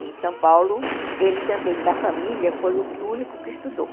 Em São Paulo, ele também, da família, foi o único que estudou.